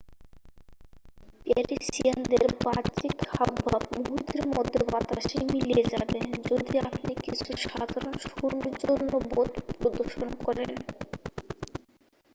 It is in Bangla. প্যারিসিয়ানদের বাহ্যিক হাবভাব মুহূর্তের মধ্য বাতাসে মিলিয়ে যাবে যদি আপনি কিছু সাধারণ সৌজন্যবোধ প্রদর্শন করেন